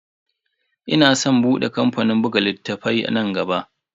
Ina san bude kamfanin buga littafai nan gaba.